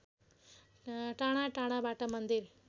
टाढाटाढाबाट मन्दिर